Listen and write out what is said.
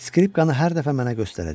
skripkanı hər dəfə mənə göstərəcək.